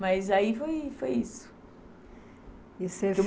Mas aí foi ih foi isso.